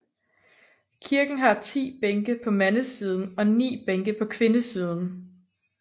Kirken har 10 bænke på mandesiden og 9 bænke på kvindesiden